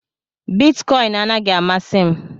Bitikoin anaghị amasị m